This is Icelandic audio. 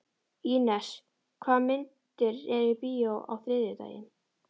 Ínes, hvaða myndir eru í bíó á þriðjudaginn?